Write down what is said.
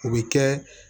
O bɛ kɛ